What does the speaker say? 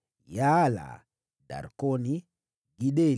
wazao wa Yaala, Darkoni, Gideli,